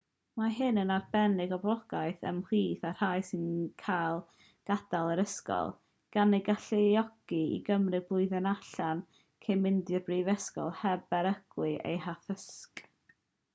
mae hyn yn arbennig o boblogaidd ymhlith y rhai sy'n gadael yr ysgol gan eu galluogi i gymryd blwyddyn allan cyn mynd i'r brifysgol heb beryglu eu haddysg